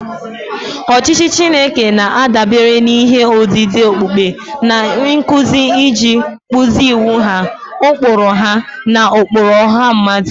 Ọchịchị Chineke na-adabere n'ihe odide okpukpe na nkuzi iji kpụzie iwu ha, ụkpụrụ ha, na ụkpụrụ ọha mmadụ.